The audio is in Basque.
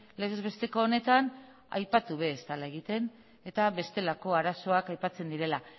legez besteko honetan aipatu gabe ez dela egiten eta bestelako arazoak aipatzen direla